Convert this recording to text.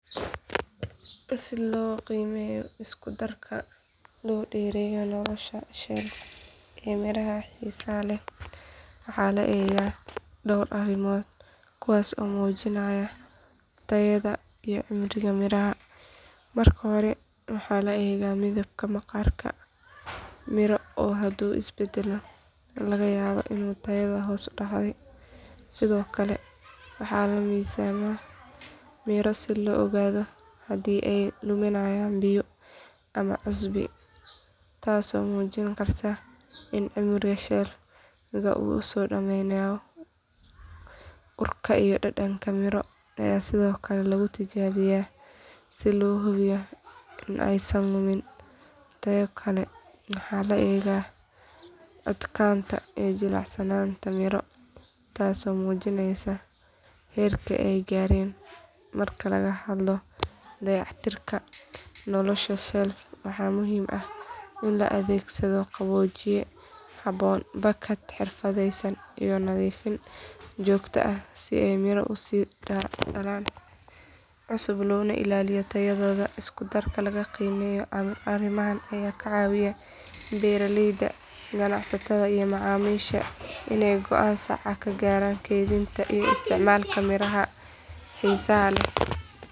Si loo qiimeeyo isku darka loo dheereeyo nolosha shelf ee miraha xiisaha leh waxaa la eega dhowr arrimood kuwaas oo muujinaya tayada iyo cimriga miraha marka hore waxaa la eegaa midabka maqaarka miro oo hadduu isbedelo laga yaabo in tayada hoos u dhacday sidoo kale waxaa la miisaa miro si loo ogaado haddii ay luminayaan biyo ama cusbi taasoo muujin karta in cimriga shelf ga uu soo dhammaanayo urka iyo dhadhanka miro ayaa sidoo kale lagu tijaabiyaa si loo hubiyo in aysan lumin tayo kale waxaa la eegaa adkaanta iyo jilicsanaanta miro taasoo muujinaysa heerka ay gaareen marka laga hadlo dayactirka nolosha shelf waxaa muhiim ah in la adeegsado qaboojiye habboon baakad xirfadaysan iyo nadiifin joogto ah si ay miro u sii ahaadaan cusub loona ilaaliyo tayadooda isku darka lagu qiimeeyo arrimahan ayaa ka caawiya beeraleyda ganacsatada iyo macaamiisha inay go’aan sax ah ka gaaraan kaydinta iyo isticmaalka miraha xiisaha leh.